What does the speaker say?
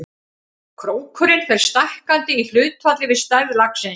Krókurinn fer stækkandi í hlutfalli við stærð laxins.